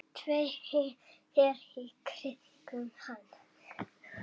Dreifi sér í kringum hann.